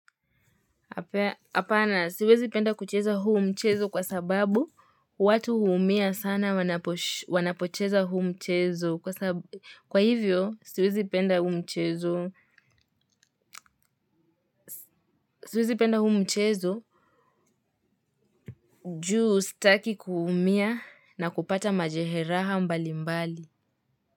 Hapana siwezi penda kucheza huu mchezo kwa sababu watu huumia sana wanapocheza huu mchezo kwa hivyo siwezi penda huu mchezo juu sitaki kuumia na kupata majeraha mbali mbali.